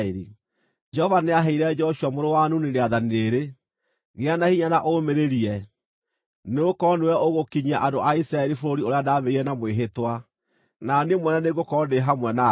Jehova nĩaheire Joshua mũrũ wa Nuni rĩathani rĩrĩ: “Gĩa na hinya na ũũmĩrĩrie, nĩgũkorwo nĩwe ũgũkinyia andũ a Isiraeli bũrũri ũrĩa ndamerĩire na mwĩhĩtwa, na Niĩ mwene nĩngũkorwo ndĩ hamwe nawe.”